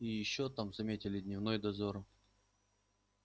и ещё там заметили дневной дозор